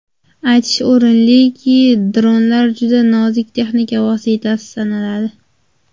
Aytish o‘rinliki, dronlar juda nozik texnik vosita sanaladi.